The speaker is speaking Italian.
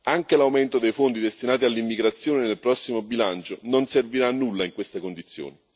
Anche l'aumento dei fondi destinati all'immigrazione nel prossimo bilancio non servirà a nulla in queste condizioni.